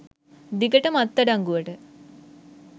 දිගටම අත් අඩංගුවට